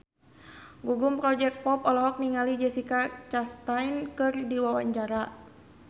Gugum Project Pop olohok ningali Jessica Chastain keur diwawancara